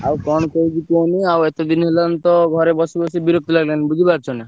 ଆଉ କଣ କହୁଛି କୁହନୀ ଆଉ ଏତେ ଦିନ ହେଲାଣି ତ ଘରେ ବସି ବସି ବିରକ୍ତି ଲାଗିଲାଣି ବୁଝି ପାରୁଛ ନା।